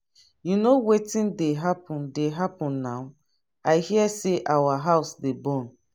you know wetin dey happen dey happen now i hear say our house dey burn.